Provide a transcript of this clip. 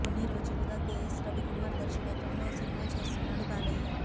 కొన్ని రోజులుగా కేఎస్ రవికుమార్ దర్శకత్వంలో ఓ సినిమా చేస్తున్నాడు బాలయ్య